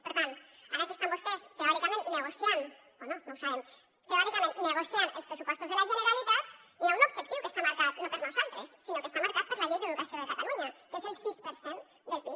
per tant ara que estan vostès teòricament negociant o no no ho sabem els pressupostos de la generalitat n’hi ha un objectiu que està marcat no per nosaltres sinó que està marcat per la llei d’educació de catalunya que és el sis per cent del pib